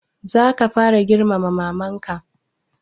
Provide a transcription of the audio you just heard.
Za ka fara girmama maman ka?